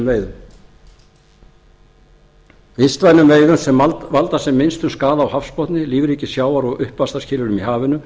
með vistvænum veiðum sem valda sem minnstum skaða á hafsbotni lífríki sjávar og uppvaxtarskilyrðum í hafinu